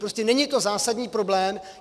Prostě není to zásadní problém.